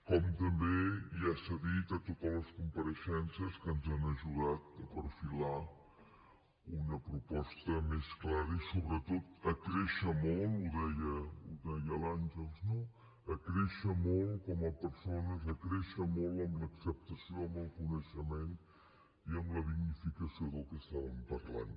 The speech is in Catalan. com també i ja s’ha dit a totes les compareixences que ens han ajudat a perfilar una proposta més clara i sobretot a créixer molt ho deia l’àngels no a créixer molt com a persones a créixer molt en l’acceptació en el coneixement i en la dignificació del que estàvem parlant